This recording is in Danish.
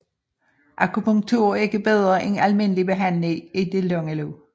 Akupunktur er ikke bedre end almindelig behandling i det lange løb